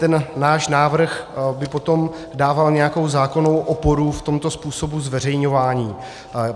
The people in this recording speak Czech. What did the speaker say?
Ten náš návrh by potom dával nějakou zákonnou oporu v tomto způsobu zveřejňování.